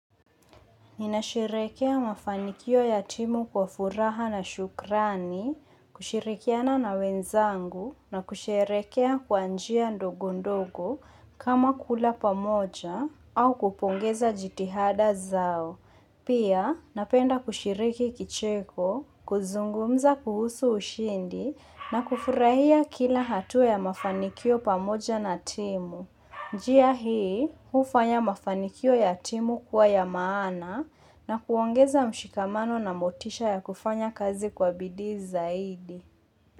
Ninasherekea mafanikio ya timu kwa furaha na shukrani, kushirikiana na wenzangu na kushirekea kwanjia ndogondogo kama kula pamoja au kupongeza jitihada zao. Pia napenda kushiriki kicheko, kuzungumza kuhusu ushindi na kufurahia kila hatua ya mafanikio pamoja na timu. Njia hii, hufanya mafanikio ya timu kuwa ya maana na kuongeza mshikamano na motisha ya kufanya kazi kwa bidii zaidi.